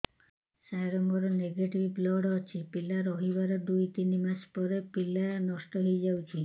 ସାର ମୋର negative blood ଅଛି ପିଲା ରହିବାର ଦୁଇ ତିନି ମାସ ପରେ ପିଲା ନଷ୍ଟ ହେଇ ଯାଉଛି